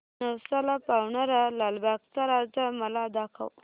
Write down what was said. नवसाला पावणारा लालबागचा राजा मला दाखव